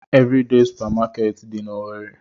Evridee supamakeeti dị n'Owerre.